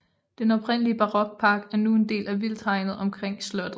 Den oprindelige barokpark er nu en del af vildthegnet omkring slottet